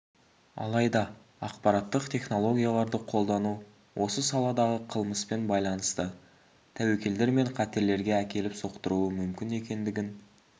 алайда ақпараттық технологияларды қолдану осы саладағы қылмыспен байланысты тәуекелдер мен қатерлерге әкеліп соқтыруы мүмкін екендігін